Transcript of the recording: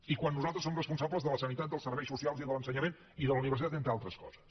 i quan nosaltres som responsables de la sanitat dels serveis socials i de l’ensenyament i de la universitat entre d’altres coses